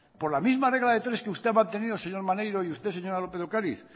por la misma regla de tres que usted ha mantenido señor maneiro y usted señora lópez de ocariz